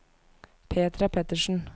Petra Pettersen